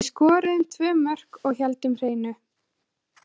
Við skoruðum tvö mörk og héldum hreinu.